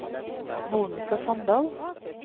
Monica Sandal